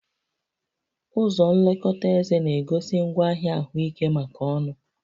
Ụzọ nlekọta éze na-egosi ngwaahịa ahụike maka ọnụ